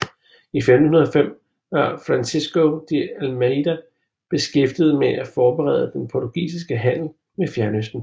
I 1505 var Francisco de Almeida beskæftiget med at forbedre den portugisiske handel med Fjernøsten